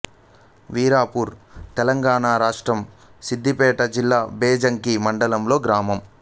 వీరాపూర్ తెలంగాణ రాష్ట్రం సిద్ధిపేట జిల్లా బెజ్జంకి మండలంలోని గ్రామం